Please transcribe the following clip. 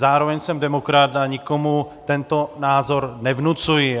Zároveň jsem demokrat a nikomu tento názor nevnucuji.